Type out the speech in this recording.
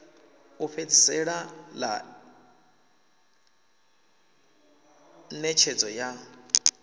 u fhedzisela ḽa ṋetshedzo ya